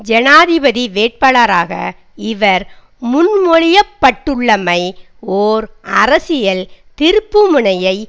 ஜனாதிபதி வேட்பாளராக இவர் முன்மொழியப்பட்டுள்ளமை ஓர் அரசியல் திருப்பு முனையை